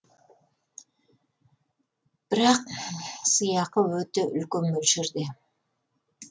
бірақ сыйақы өте үлкен мөлшерде